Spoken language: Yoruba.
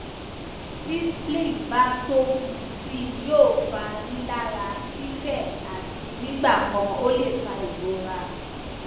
ti spleen ba tobu sii yoo fa rilara fifẹ ati nigbakan o le fa irora